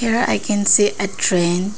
here i can see a train.